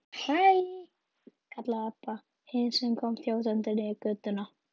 Hæ, kallaði Abba hin sem kom þjótandi niður götuna.